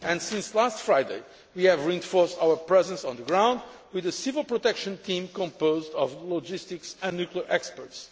Since last Friday we have reinforced our presence on the ground with a civil protection team composed of logistics and nuclear experts.